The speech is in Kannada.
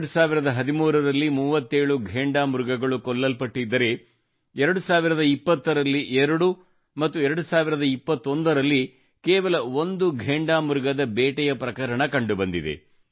2013 ರಲ್ಲಿ 37 ಘೇಂಡಾ ಮೃಗಗಳು ಕೊಲ್ಲಲ್ಪಟ್ಟಿದ್ದರೆ 2020 ರಲ್ಲಿ 2 ಮತ್ತು 2021 ರಲ್ಲಿ ಕೇವಲ ಒಂದು ಘೇಂಡಾಮೃಗದ ಬೇಟೆಯ ಪ್ರಕರಣ ಕಂಡು ಬಂದಿತು